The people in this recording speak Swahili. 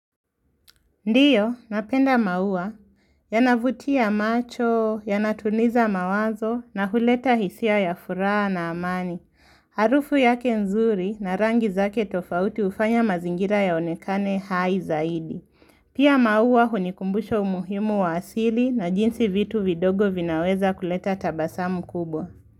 Ndiyo, napenda maua, yanavutia macho, yanatuliza mawazo na huleta hisia ya furaha na amani. Harufu yake nzuri na rangi zake tofauti hufanya mazingira yaonekane haizaidi. Pia maua hunikumbusha umuhimu wa asili na jinsi vitu vidogo vinaweza kuleta tabasamu kubwa.